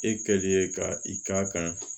E kɛlen ka i k'a kan